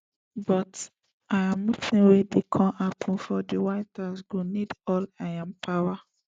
but im meeting wey dey come happun for di white house go need all im power